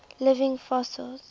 living fossils